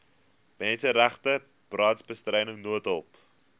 menseregte brandbestryding noodhulp